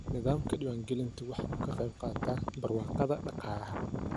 Nidaamka diwaangelintu waxa uu ka qayb qaataa barwaaqada dhaqaalaha.